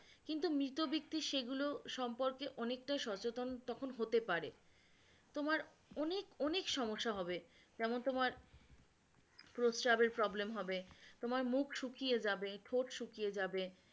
কিন্তু মিতব্যক্তি সেগুলো সম্পর্কে অনেকটা সচেতন তখন হতে পারে তোমার অনেক অনেক সমস্যা হবে যেমন তোমার প্রস্রাবের problem হবে, তোমার মুখ শুকিয়ে যাবে, ঠোঁট শুকিয়ে যাবে